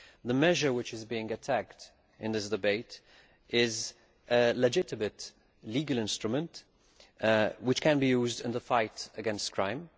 The measure which is being attacked in this debate is a legitimate legal instrument which can be used in the fight against crime.